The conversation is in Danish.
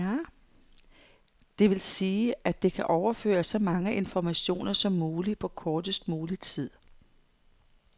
Det vil sige, at det kan overføre så mange informationer som muligt på kortest mulig tid.